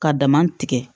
Ka dama tigɛ